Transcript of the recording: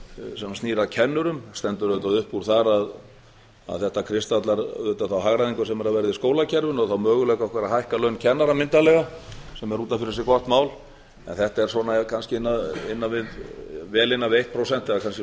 sem snýr að kennurum það stendur auðvitað upp úr þar að þetta kristallar þá hagræðingu sem er að verða í skólakerfinu og þá möguleika okkar að hækka laun kennara myndarlega sem er út af fyrir sig gott mál þetta er kannski vel innan við eitt prósent eða kannski